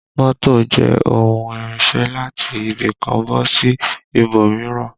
Mọ́tò jẹ́ ohun ìrìnsẹ̀ láti ibì kan bọ́ sí ibòmíràn